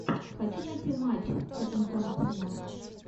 хочу найти матч тоттенхэм арсенал